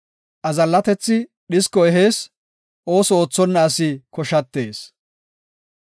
Azallatethi dhisko ehees; ooso oothonna asi koshatees.